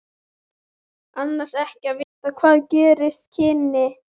Annars ekki að vita hvað gerast kynni.